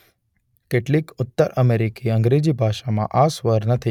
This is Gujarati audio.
કેટલીક ઉત્તર અમેરિકી અંગ્રેજી ભાષામાં આ સ્વર નથી.